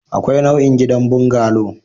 Akwai nau'in gidan bungalow